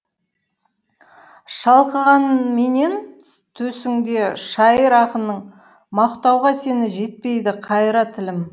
шалқығанменен төсіңде шайыр ақының мақтауға сені жетпейді қайыра тілім